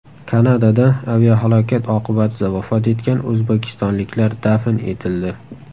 Kanadada aviahalokat oqibatida vafot etgan o‘zbekistonliklar dafn etildi.